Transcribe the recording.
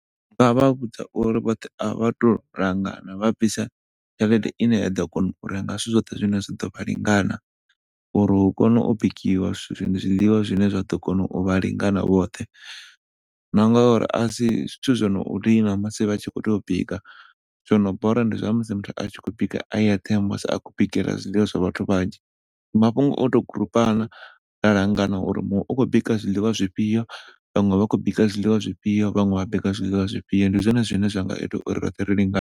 Vha nga vhudza uri vhoṱhe vha tou langana vha bvise tshelede ine ya ḓo kona u renga zwithu zwoṱhe zwine zwa ḓovha lingana uri hu kone u bikiwa zwiḽiwa zwine zwa ḓo kona u vha lingana vhoṱhe na ngauri asi zwithu zwo ni dina musi vha tshi khou tea u bika zwono bora ndi musi muthu a tshi khou tea u bika a eṱhe musi a khou bikela zwiḽiwa zwa vhathu vhanzhi. Mafhungo o tou groupana ra langana uri muṅwe u khou bika zwiḽiwa zwifhio, vhaṅwe vha khou bika zwiḽiwa zwifhio, vhaṅwe vha bika zwiḽiwa zwifhio ndi zwone zwine zwa nga ita uri roṱhe ri lingane.